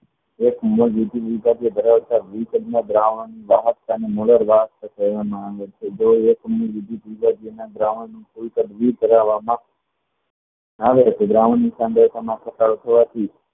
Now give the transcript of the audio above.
ધરાવતા દ્રાવણમાં ઘટાડો થવા થી